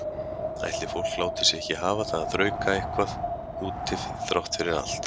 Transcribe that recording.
Ætli fólk láti sig ekki hafa það að þrauka eitthvað úti þrátt fyrir allt.